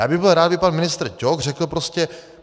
Já bych byl rád, kdyby pan ministr Ťok řekl prostě: